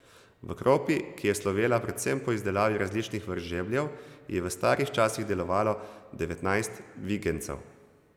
V Kropi, ki je slovela predvsem po izdelavi različnih vrst žebljev, je v starih časih delovalo devetnajst vigenjcev.